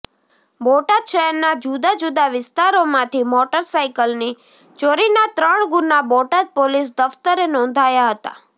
બોટાદ શહેરના જુદા જુદા વિસ્તારોમાંથી મોટર સાઈકલની ચોરીના ત્રણ ગુના બોટાદ પોલીસ દફ્તરે નોંધાયા હતા